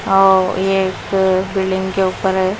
ओ ये बिल्डिंग के ऊपर है।